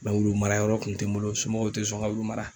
wulu mara yɔrɔ kun te n bolo . N somɔgɔw te sɔn n ka wulu mara.